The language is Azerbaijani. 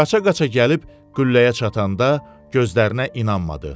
Qaça-qaça gəlib qülləyə çatanda gözlərinə inanmadı.